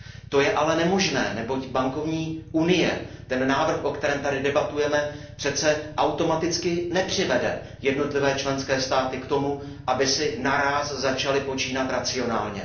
To je ale nemožné, neboť bankovní unie, návrh, o kterém tady debatujeme, přece automaticky nepřivede jednotlivé členské státy k tomu, aby si naráz začaly počínat racionálně.